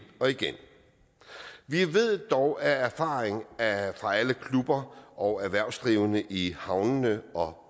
og igen vi ved dog af erfaring fra alle klubber og erhvervsdrivende i havnene og